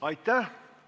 Aitäh!